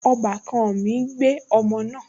Ọbàkan mi gbé ọmọ náà